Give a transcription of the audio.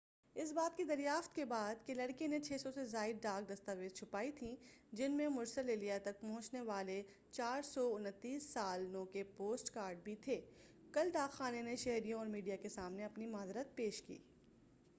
اس بات کی دریافت کے بعد کہ لڑکے نے 600 سے زائد ڈاک دستاویزچھپائی تھی جن میں مرسل الیہ تک نہ پہنچنے والے 429 سال نو کے پوسٹ کارڈ بھی تھے کل ڈاکخانے نے شہریوں اور میڈیا کے سامنے اپنی معذرت پیش کی